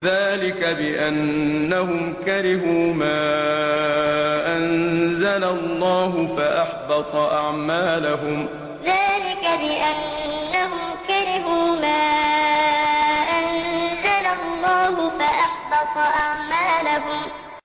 ذَٰلِكَ بِأَنَّهُمْ كَرِهُوا مَا أَنزَلَ اللَّهُ فَأَحْبَطَ أَعْمَالَهُمْ ذَٰلِكَ بِأَنَّهُمْ كَرِهُوا مَا أَنزَلَ اللَّهُ فَأَحْبَطَ أَعْمَالَهُمْ